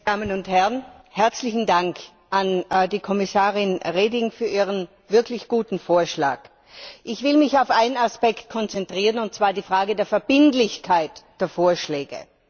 Herr Präsident, meine Damen und Herren! Herzlichen Dank an die Kommissarin Reding für ihren wirklich guten Vorschlag! Ich will mich auf einen Aspekt konzentrieren, und zwar die Frage der Verbindlichkeit der Vorschläge.